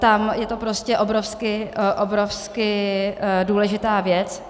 Tam je to prostě obrovsky, obrovsky důležitá věc.